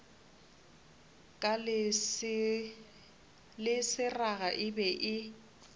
le seraga e be e